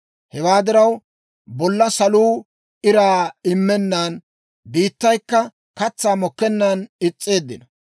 Hewaa diraw, bolla saluu iraa immennan, biittaykka katsaa mokkennan is's'eeddino.